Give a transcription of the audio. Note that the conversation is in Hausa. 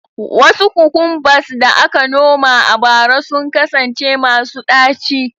Wasu cucumbers da aka noma a bara sun kasance masu ɗaci